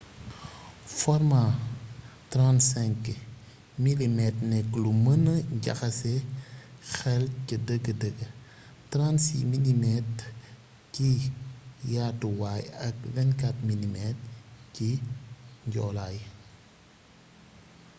formaa 35mm nekk lu mëna jaxase xel ca dëgg-dëgg 36mm ci yaatuwaay ak 24mm ci njoolaay